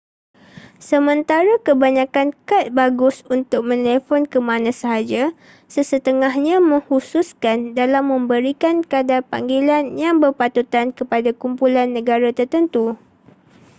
sementara kebanyakan kad bagus untuk menelefon ke mana sahaja sesetengahnya mengkhususkan dalam memberikan kadar panggilan yang berpatutan kepada kumpulan negara tertentu